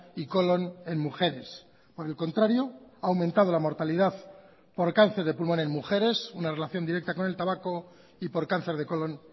y colón en mujeres por el contrario ha aumentado la mortalidad por cáncer de pulmón en mujeres una relación directa con el tabaco y por cáncer de colón